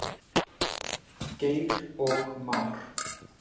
Geir og Már.